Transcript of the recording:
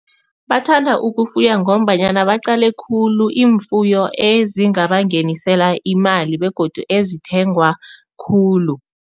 Bathanda ukufuya ngombanyana baqale khulu iimfuyo ezingabangenisela imali begodu ezithengwa khulu.